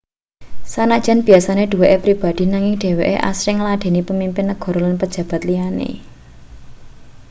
sanajan biasane duweke pribadi nanging dheweke asring ngladheni pamimpin negara lan pejabat liyane